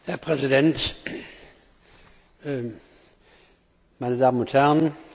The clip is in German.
Herr Präsident, meine Damen und Herren!